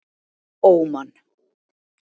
Óman